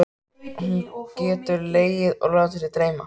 Hún getur legið og látið sig dreyma.